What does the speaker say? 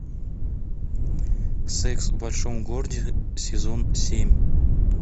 секс в большом городе сезон семь